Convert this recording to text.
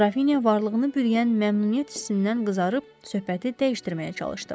Qrafinya varlığını bürüyən məmnuniyyət hissindən qızarıb söhbəti dəyişdirməyə çalışdı.